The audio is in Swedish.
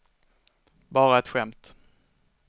bara ett skämt